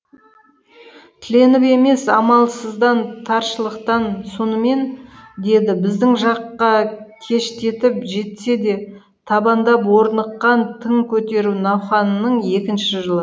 тіленіп емес амалсыздан таршылықтан сонымен деді біздің жаққа кештетіп жетсе де табандап орныққан тың көтеру науқанының екінші жылы